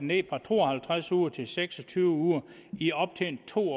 ned fra to og halvtreds uger til seks og tyve uger i op til to